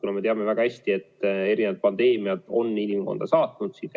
Me ju teame väga hästi, et erinevad pandeemiad on inimkonda ikka saatnud.